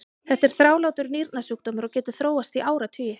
þetta er þrálátur nýrnasjúkdómur og getur þróast í áratugi